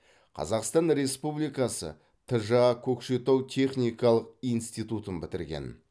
қазақстан республикасы тжа көкшетау техникалық институтын бітірген